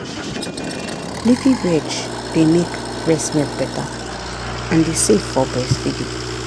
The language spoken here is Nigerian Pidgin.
leafy veg dey make breast milk better and e safe for breastfeeding.